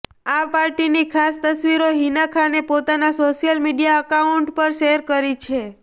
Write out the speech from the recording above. આ પાર્ટીની ખાસ તસવીરો હિના ખાને પોતાના સોશિયલ મીડિયા અકાઉન્ટ પર શેર કરી છે